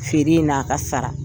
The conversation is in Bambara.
Feere n' aa ka sara